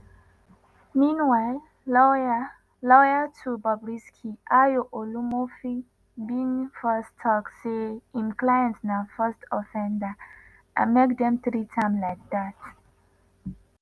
meanwhile lawyer lawyer to bobrisky ayo olumofin bin first tok say im client na first offender and make dem treat am like dat.